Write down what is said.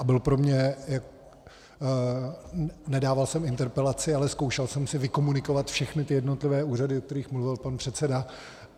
A byl pro mě... nedával jsem interpelaci, ale zkoušel jsem si vykomunikovat všechny ty jednotlivé úřady, o kterých mluvil pan předseda.